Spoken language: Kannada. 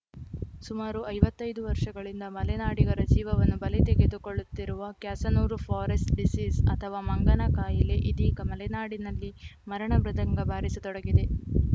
ಸುಮಾರು ಐವತ್ತೈದು ವರ್ಷಗಳಿಂದ ಮಲೆನಾಡಿಗರ ಜೀವವನ್ನು ಬಲಿ ತೆಗೆದುಕೊಳ್ಳುತ್ತಿರುವ ಕ್ಯಾಸನೂರು ಫಾರೆಸ್ಟ್‌ ಡಿಸೀಸ್‌ ಅಥವಾ ಮಂಗನಕಾಯಿಲೆ ಇದೀಗ ಮಲೆನಾಡಿನಲ್ಲಿ ಮರಣ ಮೃದಂಗ ಬಾರಿಸತೊಡಗಿದೆ